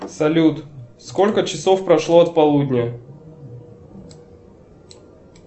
салют сколько часов прошло от полудня